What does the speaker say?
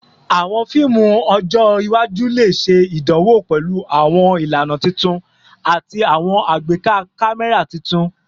Awọn fiimu ọjọ iwaju le ṣe idanwo pẹlu awọn ilana tuntun ati awọn agbeka kamẹra tuntun